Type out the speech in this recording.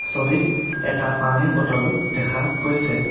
ছবিত এটা পানীৰ বটলো দেখা গৈছে।